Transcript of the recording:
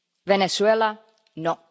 Venezuela, no.